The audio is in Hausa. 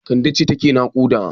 Kande ce take naƙuda.